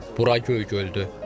Bura Göygöldür.